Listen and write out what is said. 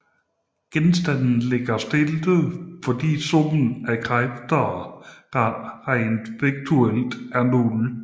Genstanden ligger stille fordi summen af kræfter regnet vektorielt er nul